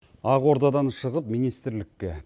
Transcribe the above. ақордадан шығып министрлікке